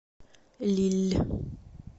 лилль